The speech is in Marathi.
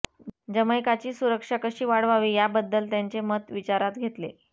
जमैकाची सुरक्षा कशी वाढवावी याबद्दल त्यांचे मत विचारात घेतले